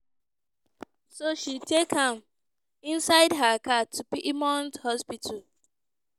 so she take am inside her car to piedmont hospital.